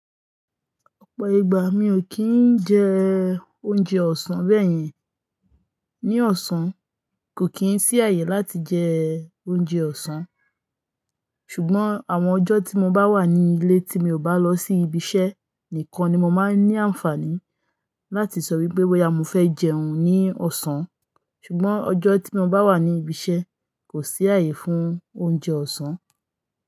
Ọ̀pọ̀ ìgbà mi ò kí ń jẹ oúnjẹ ọ̀sán bẹ́ẹ̀ yẹn. Ní ọ̀sán, kò kí ń sí ààyè láti jẹ oúnjẹ ọ̀sán. Ṣùgbọ́n àwọn ọjọ́ tí mo bá wà ní ilé tí mi ò bá lọ sí ibi iṣẹ́ nìkan ni mo máa ń ní àǹfààní láti sọ wípé bo yà mo fẹ́ jẹun ní ọ̀sán. Ṣùgbọ́n ọjọ́ tí mo bá wà ní ibi iṣẹ́, kò sí ààyè fún oúnjẹ ọ̀sán.